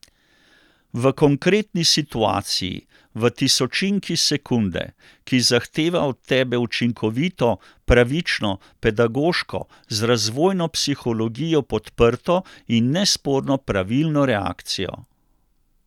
V konkretni situaciji, v tisočinki sekunde, ki zahteva od tebe učinkovito, pravično, pedagoško, z razvojno psihologijo podprto in nesporno pravilno reakcijo?